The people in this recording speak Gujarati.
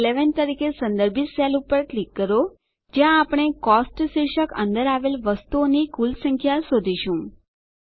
સી11 તરીકે સંદર્ભિત સેલ પર ક્લિક કરો જ્યાં આપણે કોસ્ટ શીર્ષક અંદર આવેલ વસ્તુઓની કુલ સંખ્યા શોધીશું